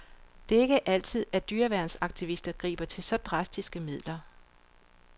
Det er ikke altid, at dyreværnsaktivister griber til så drastiske midler.